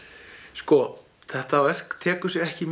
sko þetta verk tekur sig ekki